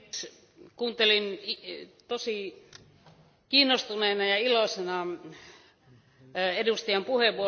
Kuuntelin tosi kiinnostuneena ja iloisena edustajan puheenvuoroa.